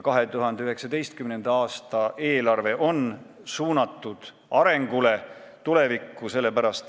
2019. aasta eelarve on suunatud arengule, tulevikku.